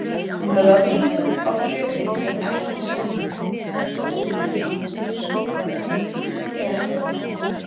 Hún hafði aldrei lent á kjöti sem ekki soðnaði, hvorki í sinni búskapartíð eða endranær.